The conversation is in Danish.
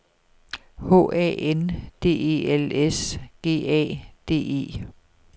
H A N D E L S G A D E